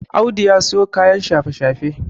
Audu ya siyo kayan shafe-shafe